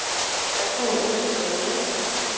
Hvad kan hun ønske sig mere.